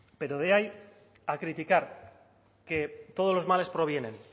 pero de ahí a criticar que todos los males provienen